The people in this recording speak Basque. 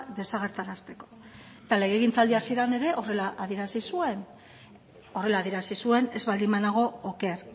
desagerrarazteko eta legegintzaldi hasieran ere horrela adierazi zuen horrela adierazi zuen ez baldin banago oker